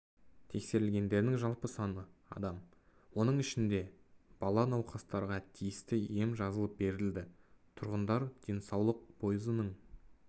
тексерілгендердің жалпы саны адам оның ішінде бала науқастарға тиісті ем жазылып берілді тұрғындар денсаулық пойызының